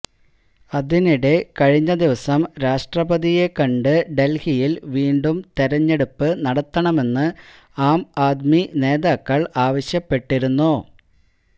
അതിനിടെ കഴിഞ്ഞദിവസം രാഷ്ട്രപതിയെ കണ്ട് ഡൽഹിയിൽ വീണ്ടും തെരഞ്ഞെടുപ്പ് നടത്തണമെന്ന് ആം ആദ്മി നേതാക്കൾ ആവശ്യപ്പെട്ടിരുന്നു